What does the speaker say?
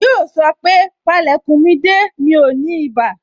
Yoo sọ pé, Pale kun mi de, mi ò ní ibà